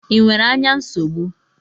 Ị nwere ányá nsogbu?